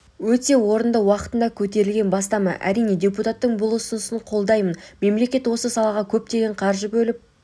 өте орынды уақытында көтерілген бастама әрине депуттатың бұл ұсынысын қолдаймын мемлекет осы салаға көптеген қаржы бөліп